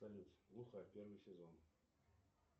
салют глухарь первый сезон